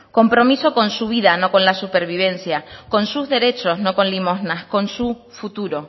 compromiso con su vida no con la supervivencia con sus derechos no con limosnas con su futuro